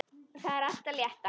Það er allt það létta.